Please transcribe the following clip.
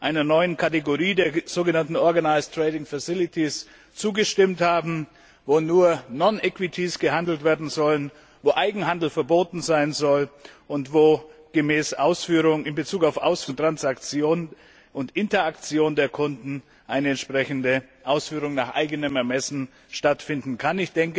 einer neuen Kategorie, den sogenannten Organised Trading Facilities zugestimmt haben, wo nur non equities gehandelt werden sollen, wo Eigenhandel verboten sein soll und wo in Bezug auf Ausführung, Transaktion und Interaktion der Kunden eine entsprechende Ausführung nach eigenem Ermessen stattfinden kann.